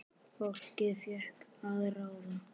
Fólkið fékk að ráða.